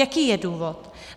Jaký je důvod?